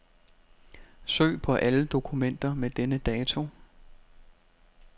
Søg på alle dokumenter med denne dato.